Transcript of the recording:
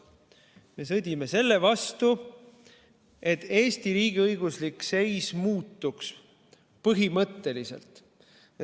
Me sõdime selle vastu, et Eesti riigiõiguslik seis muutuks, põhimõtteliselt.